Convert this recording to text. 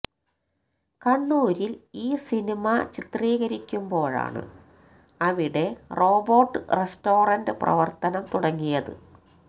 കണ്ണൂരിൽ ഈ സിനിമ ചിത്രീകരിക്കുമ്പോഴാണ് അവിടെ റോബോട്ട് റസ്റ്റോറന്റ് പ്രവർത്തനം തുടങ്ങിയത്